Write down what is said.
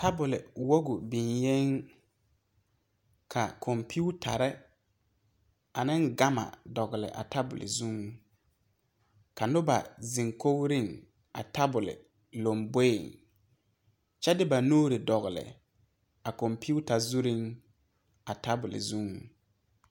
Tabole woge biŋyeŋ ka kɔmpiutarre ane gama a dɔgle a tabol zuŋ ka nobɔ zeŋ kogreŋ a tabole lamboeŋ kyɛ de ba nuure dɔgle a kɔmpiuta zureŋ a tabole zuŋ.